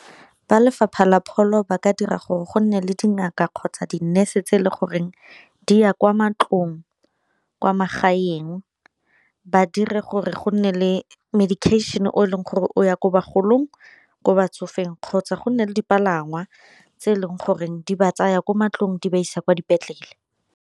Ba lefapha la pholo ba ka dira gore go nne le dingaka kgotsa di-nurse tse e le goreng di ya kwa mantlong kwa magaeng, ba dire gore go nne le medication o e leng gore o ya ko bagolong, ko batsofeng kgotsa go nne le dipalangwa tse e leng gore di ba tsaya kwa mantlong di ba isa kwa dipetlele.